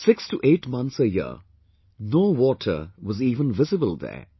6 to 8 months a year, no water was even visible there